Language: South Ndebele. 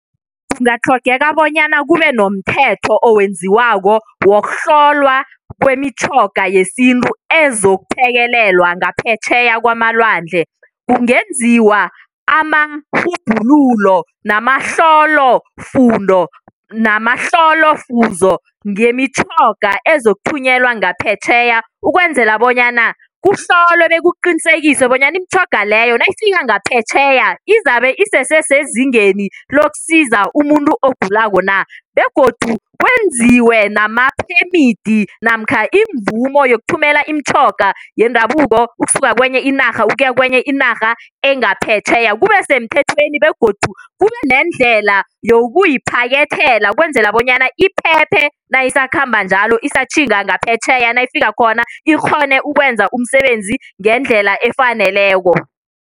Kungatlhogeka bonyana kube nomthetho owenziwako wokuhlolwa kwemitjhoga yesintu ezokuphekelelwa ngaphetjheya kwamalwandle. Kungenziwa amarhubhululo namahlolofundo namahlolofuzo ngemitjhoga ezokuthunyelwa ngaphetjheya ukwenzela bonyana kuhlolwe bekuqinisekiswe bonyana imitjhoga leyo nayifika ngaphetjheya izabe isese sezingeni lokusiza umuntu ogulako na begodu kwenziwe namaphemidi namkha imvumo yokuthumela imitjhoga yendabuko ukusuka kwenye inarha ukuya kwenye inarha engaphetjheya kube semthethweni begodu kube neendlela yokuyiphakethela ukwenzela bonyana iphephe nayisakhamba njalo isatjhinga ngaphetjheya nayifika khona ikghone ukwenza umsebenzi ngendlela efaneleko.